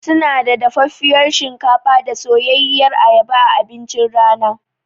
Sunada dafaffiyar shinkafa da soyayyiyar ayaba a abincin rana.